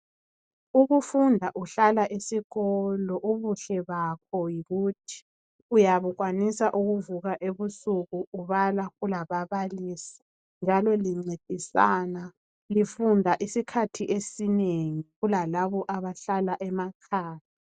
Ukufunda uhlala esikolo ubuhle bakho yikuthi uyabe ukwanisa ukuvuka ebusuku ubala kulababalisi njalo lincedisana. Lifunda isikhathi esinengi kulalabo abahlala emakhaya.